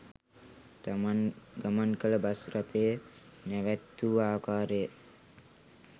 තමන් ගමන් කළ බස් රථය නැවැත්වූ ආකාරය